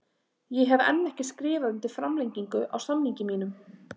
Ég hef enn ekki skrifað undir framlengingu á samningi mínum.